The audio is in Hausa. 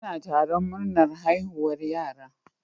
Ana taron murnar haihuwar yara.